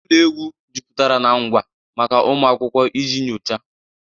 Ụlọ egwu jupụtara na ngwa maka ụmụ akwụkwọ iji nyochaa.